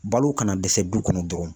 Balo kana dɛsɛ du kɔnɔ dɔrɔn